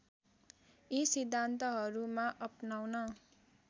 यी सिद्धान्तहरूमा अपनाउन